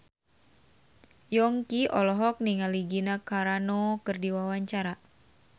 Yongki olohok ningali Gina Carano keur diwawancara